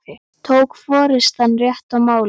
Tók forystan rétt á málinu?